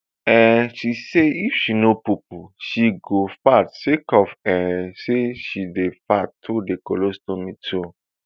um she say if she no poopoo she go fart sake of um say she dey fart through di colostomy too